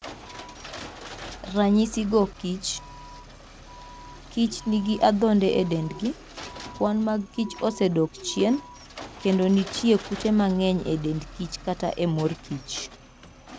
Ranyisigo kich:Kich nigi adhonde e dendgi, kwan mag kich osedok chien, kendo nitie kute mang'eny e dend kich kata e mor kich.